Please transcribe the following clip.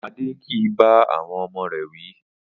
Adé kì í bá àwo̩n o̩mo̩ rè̩ wí